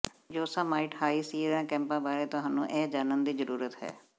Yosemite High Sierra ਕੈਂਪਾਂ ਬਾਰੇ ਤੁਹਾਨੂੰ ਇਹ ਜਾਣਨ ਦੀ ਜ਼ਰੂਰਤ ਹੈ